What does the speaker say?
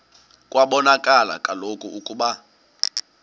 kwabonakala kaloku ukuba